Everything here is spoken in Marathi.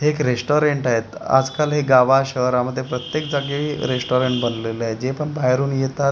हे एक रेस्टॉरंट आहेत आजकाल हे गावा शहरामध्ये प्रत्येक जागी रेस्टॉरंट बनलेलं आहे जे पण बाहेरून येतात आपली --